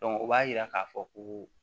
o b'a yira k'a fɔ ko